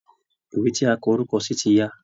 Ìwé tí a kọ orúkọ sí ti ya